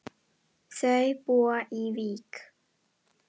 Þau búa í Vík.